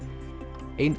ein